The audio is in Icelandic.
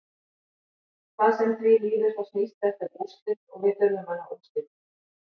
Hvað sem því líður þá snýst þetta um úrslit og við þurfum að ná úrslitum.